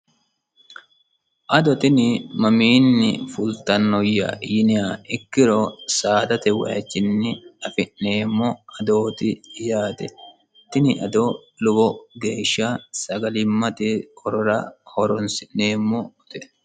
ado tini mamiinni fultannoyya yiniha ikkiro saadate waichinni afi'neemmo adooti yaate tini ado lowo geeshsha sagalimmate horora horonsi'neemmo ote